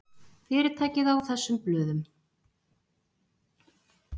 Fyrirtækið á þessum blöðum.